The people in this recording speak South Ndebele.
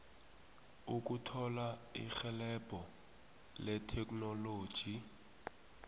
ukuthola irhelebho letheknoloji